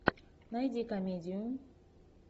найди комедию